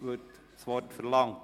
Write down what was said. Wird das Wort verlangt?